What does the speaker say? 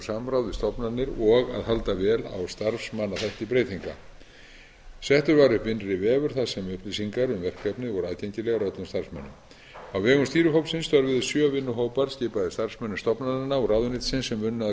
við stofnanir og á að halda vel á starfsmannaþætti breytinga settur var upp innri vefur þar sem upplýsingar um verkefnið voru aðgengilegar öllum starfsmönnum á vegum stýrihópsins störfuðu sjö vinnuhópar skipaðir starfsmönnum stofnananna og ráðuneytisins sem unnu að